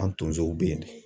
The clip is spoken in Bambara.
An tonsow be yen nɔ